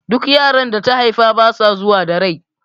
Duk yaran da ta haifa basa zuwa da rai